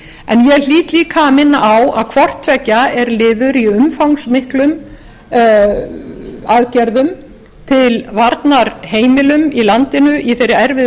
en ég hlýt líka að minna á að hvort tveggja er liður í umfangsmiklum aðgerðum til varnar heimilum í landinu í þeirri erfiðu